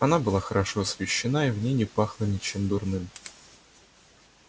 она была хорошо освещена и в ней не пахло ничем дурным